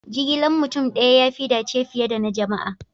Jigilan mutum daya ya fi dace fiye da na jama'a.